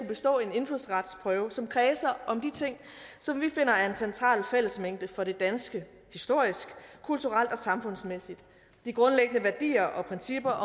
bestå en indfødsretsprøve som kredser om de ting som vi finder er en central fællesmængde for det danske historisk kulturelt og samfundsmæssigt det er grundlæggende værdier og principper